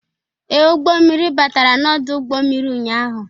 Ee, ụgbọ mmirir batara n'ọdụ ụgbọ mmiri ụnyaahụ.